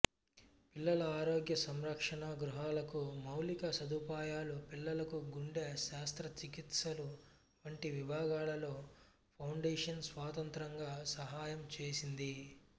పిల్లల ఆరోగ్య సంరక్షణ గృహాలకు మౌలిక సదుపాయాలు పిల్లలకు గుండె శస్త్రచికిత్సలు వంటి విభాగాలలో ఫౌండేషన్ స్వతంత్రంగా సహాయం చేసింది